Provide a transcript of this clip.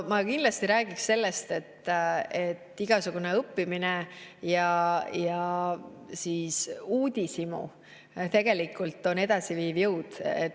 Ma kindlasti räägiks sellest, et igasugune õppimine ja uudishimu on tegelikult edasiviiv jõud.